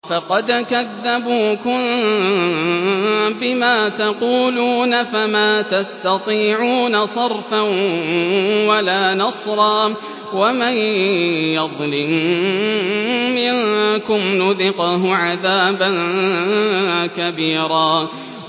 فَقَدْ كَذَّبُوكُم بِمَا تَقُولُونَ فَمَا تَسْتَطِيعُونَ صَرْفًا وَلَا نَصْرًا ۚ وَمَن يَظْلِم مِّنكُمْ نُذِقْهُ عَذَابًا كَبِيرًا